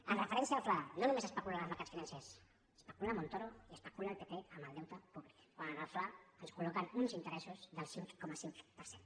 amb referència al fla no només especulen els mercats financers especula montoro i especula el pp amb el deute públic quan en el fla ens colteressos del cinc coma cinc per cent